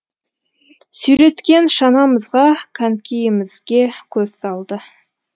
сүйреткен шанамызға конькиімізге көз салды